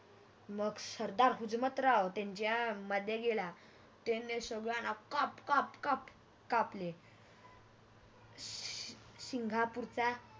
मग सरदार हुजमतराव त्यांच्या मध्ये गेला त्यांनी संगल्याना काप काप कापले सिंगापूरचा